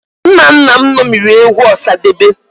Nna nna m ṅomiri egwu Ọsadebe